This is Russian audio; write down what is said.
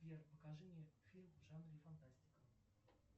сбер покажи мне фильм в жанре фантастика